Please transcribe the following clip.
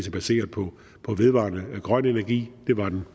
er baseret på vedvarende grøn energi det var den